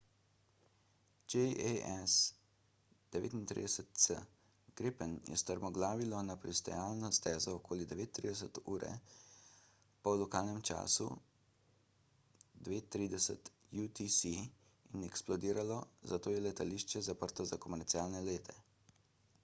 jas 39c gripen je strmoglavilo na pristajalno stezo okoli 9.30 ure po lokalnem času 0230 utc in eksplodiralo zato je letališče zaprto za komercialne lete